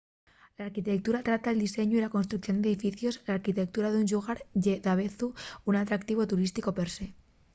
l'arquitectura trata'l diseñu y la construcción d'edificios l'arquitectura d'un llugar ye davezu un atractivu turísticu per se